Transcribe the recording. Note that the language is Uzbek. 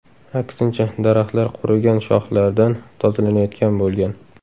Aksincha, daraxtlar qurigan shoxlardan tozalanayotgan bo‘lgan.